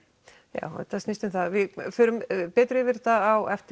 já þetta snýst um það við förum betur yfir þetta á eftir